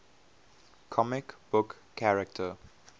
comic book character